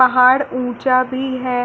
पहाड़ ऊँचा भी है।